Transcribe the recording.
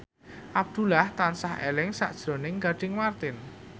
Abdullah tansah eling sakjroning Gading Marten